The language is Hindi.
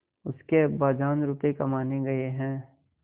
उसके अब्बाजान रुपये कमाने गए हैं